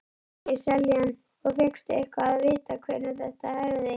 Helgi Seljan: Og fékkstu eitthvað að vita hvenær þetta hefði?